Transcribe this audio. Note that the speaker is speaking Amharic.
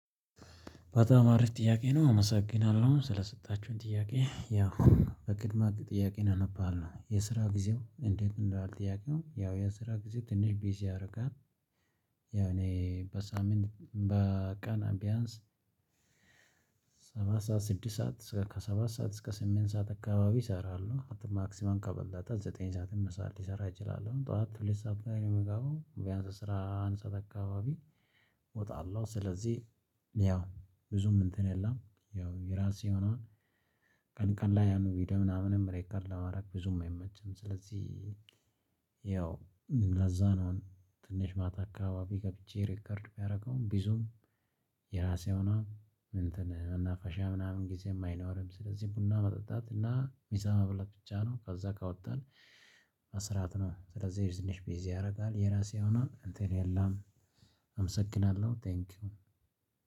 በጣም አሪፍ ጥያቄ ነው አመሰግናለሁ ስለሰጣችሁኝ ጥያቄ ያው በቅድሚያ ጥያቄውን አነባለው የስራ ጊዜው እንዴት እንደማለት ጥያቄው ያው የስራ ጊዜ ትንሽ ቤዝ ያደርጋል። ያው እኔ በሳምንት በቀን ቢያንስ ሰሳት ሰዓት ስድስት ሰዓት እስከ ሰባት ሰዓት እስከ ስምንት ሰዓት አካባቢ እሰራሉ ማክሲመም ከበለጠ ዘጠኝ ሰዓት ስምንት ሰዓት ልሰራ እችላለሁ። ጠዋት ሁለት ሰዓት ላይ ነው የምገባው ቢያንስ አስራ አንድ ሰዓት አካባቢ እወጣለሁ። ስለዚህ ያው ብዙም እንትን የለም። ያው የራሴ የሆነ ቀን ቀን ላይ ያን ቪዲዮ ምናምንም ሪከርድ ለማድረግ ብዙም አይመችም። ስለዚህ ያው ለዛ ነው። ትንሽ ማታ አካባቢ ገብቼ ሪከርድ ባደርገውም ብዙም የራሴ የሆነውን እንትን መናፈሻ ምናምን ጊዜም አይኖርም። ስለዚህ ቡና መጠጣት እና ምሳ መብላት ብቻ ነው። ከዛ ከወጣን መስራት ነው ስለዚህ ትንሽ ቢዚ ያደርጋል። የራስ የሆነውን እንትን የለም። አመሰግናለሁ ቴንኪው።